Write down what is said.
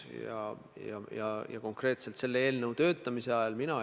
No näete, mina olen väga õnnelik, et siia Riigikogu saali on sinimustvalge toodud.